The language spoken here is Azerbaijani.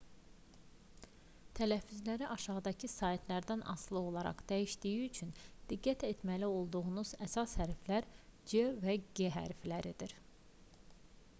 tələffüzləri aşağıdakı saitlərdən asılı olaraq dəyişdiyi üçün diqqət etməli olduğumuz əsas hərflər c və g hərfləridir